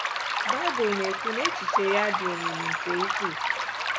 Baịbụl na-ekwu na echiche ya "dị omimi nke ukwuu."